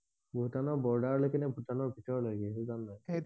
ভূটানৰ বৰ্ডাৰ লৈকে নে ভূটানৰ ভিতৰ লেকে সেইটো জানা নে?